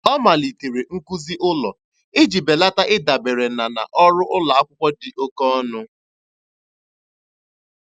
Ọ malitere nkuzi ụlọ iji belata ịdabere na na ọrụ ụlọ akwụkwọ dị oke ọnụ.